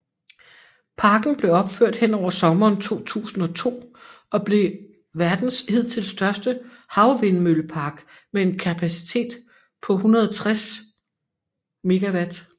Parken blev opført hen over sommeren 2002 og blev verdens hidtil største havvindmøllepark med en kapacitet på 160 MW